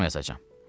Axşam yazacam.